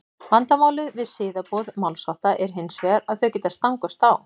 vandamálið við siðaboð málshátta er hins vegar að þau geta stangast á